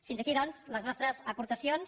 fins aquí doncs les nostres aportacions